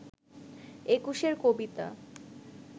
একুশের কবিতা